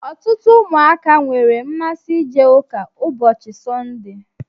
Ọtụtụ ụmụaka nwere mmasị ije ụka ụbọchị Sọnde.